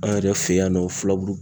An yɛrɛ fɛ yan nɔ fulaburu